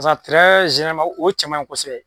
o cɛ man ɲi kosɛbɛ.